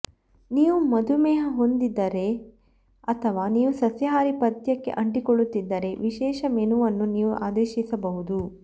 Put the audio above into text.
ನೀವು ಮಧುಮೇಹ ಹೊಂದಿದ್ದರೆ ಅಥವಾ ನೀವು ಸಸ್ಯಾಹಾರಿ ಪಥ್ಯಕ್ಕೆ ಅಂಟಿಕೊಳ್ಳುತ್ತಿದ್ದರೆ ವಿಶೇಷ ಮೆನುವನ್ನು ನೀವು ಆದೇಶಿಸಬಹುದು